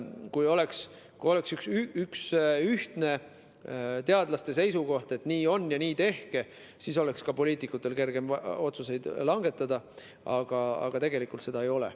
Kui oleks üks ühtne teadlaste seisukoht, et nii on ja nii tehke, siis oleks ka poliitikutel kergem otsuseid langetada, aga tegelikult seda ei ole.